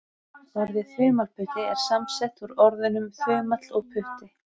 Orðið þumalputti er samsett úr orðunum þumall og putti.